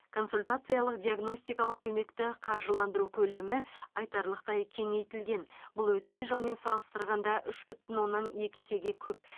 консультациялық диагностикалық көмекті қаржыландыру көлемі айтарлықтай кеңейтілген бұл өткен жылмен салыстырғанда үш бүтін оннан екі есеге көп